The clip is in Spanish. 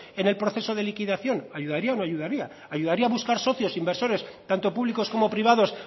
en el proceso de liquidación ayudaría o no ayudaría ayudaría buscar socios inversores tanto públicos como privados